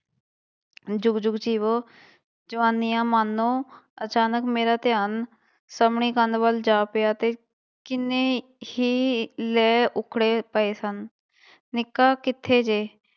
ਜੁਗ ਜੁਗ ਜੀਵੋ, ਜਵਾਨੀਆਂ ਮਾਣੋ ਅਚਾਨਕ ਮੇਰਾ ਧਿਆਨ ਸਾਹਮਣੀ ਕੰਧ ਵੱਲ ਜਾ ਪਿਆ ਤੇ ਕਿੰਨੇ ਹੀ ਲੇਹ ਉੱਖੜੇ ਪਏ ਸਨ, ਨਿੱਕਾ ਕਿੱਥੇ ਜੇ?